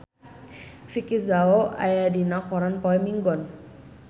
Vicki Zao aya dina koran poe Minggon